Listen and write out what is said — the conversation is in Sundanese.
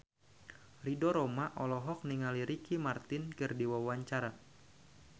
Ridho Roma olohok ningali Ricky Martin keur diwawancara